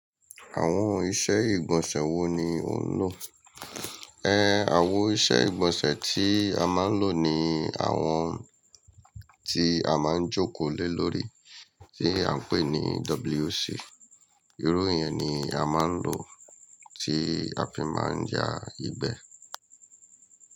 Àwọn iṣẹ́ ìgbọ̀nsẹ̀ wo ni ò ń lò? Ẹ, àwọn iṣẹ́ ìgbọ̀nsẹ̀ tí a máa ń lò ni àwọn tí a máa ń jókòó lé lórí, tí à ń pè ní WC. Irú ìyẹn ni a máa ń lò tí a fi máa ń ya ìgbẹ́.